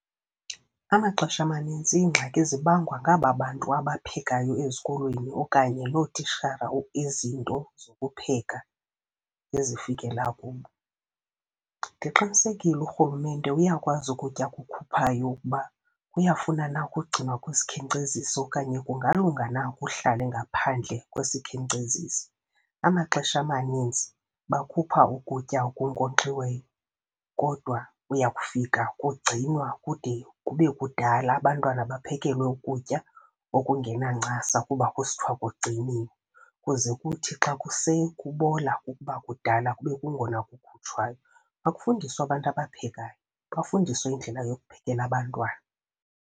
Amaxesha amanintsi iingxaki zibangwa ngaba bantu abaphekayo ezikolweni okanye loo titshala izinto zokupheka ezifikela kubo. Ndiqinisekile urhulumente uyakwazi ukutya akukhuphayo ukuba kuyafuna na ukugcinwa kwisikhenkcezisi okanye kungalunga na kuhlale ngaphandle kwesikhenkcezisi. Amaxesha amaninzi bakhupha ukutya okunkonkxiweyo kodwa uya kufika kugcinwa kude kube kudala, abantwana baphekelwe ukutya okungenancasa kuba kusithiwa kugciniwe. Kuze kuthi xa kuse kubola kukuba kudala kube kungona kukhutshwayo. Makufundiswe abantu abaphekayo, bafundiswe indlela yokuphekela abantwana.